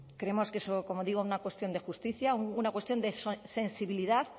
creemos que es como digo una cuestión de justicia una cuestión de sensibilidad